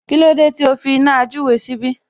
Kílódé tí o fi iná àjúre síbí?